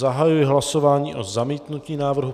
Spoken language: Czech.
Zahajuji hlasování o zamítnutí návrhu.